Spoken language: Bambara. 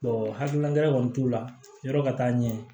hakilina wɛrɛ kɔni t'u la yɔrɔ ka taa ɲɛ